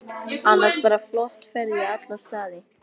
Annars bara flott ferð í alla staði.